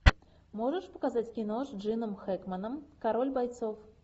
можешь показать кино с джином хэкменом король бойцов